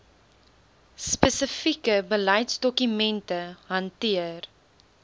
spesifieke beleidsdokumente hanteer